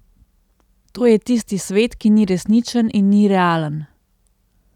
To je tisti svet, ki ni resničen in ni realen.